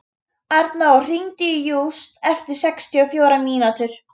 Arnór, hringdu í Júst eftir sextíu og fjórar mínútur.